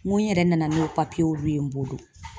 N ko n yɛrɛ nana n'o olu ye n bolo.